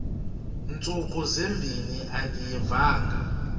ntsuku zimbin andiyivanga